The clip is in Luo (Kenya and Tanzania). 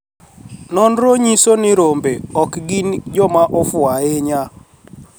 noniro niyiso nii rombe ok gini joma ofuwo ahiniya